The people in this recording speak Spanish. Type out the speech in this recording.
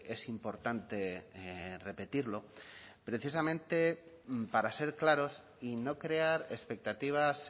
es importante repetirlo precisamente para ser claros y no crear expectativas